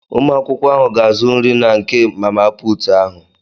Ụmụakwụkwọ ahụ ga-azụ nri na nke mama putu ahụ.